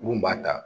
Mun b'a ta